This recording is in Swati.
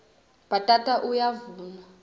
bhatata uyavunwa